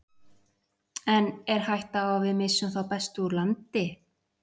En er hætta á að við missum þá bestu úr landi?